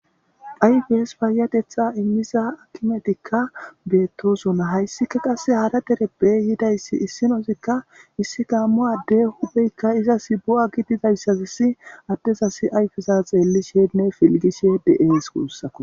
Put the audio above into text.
Ayfes payateththa immiza akimetika bettosona haysika qasse haara dereppe yidaysi issinazika issi gammo ade hupheyka izas bo7a gidizaysazasi adezas ayfeza xellishenne fiiligishe de7es gussuko.